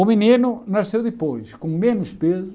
O menino nasceu depois, com menos peso,